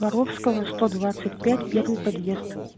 воровского сто двадцать пять первый подъезд